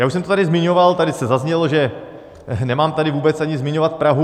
Já už jsem to tady zmiňoval, tady to zaznělo, že nemám tady vůbec ani zmiňovat Prahu.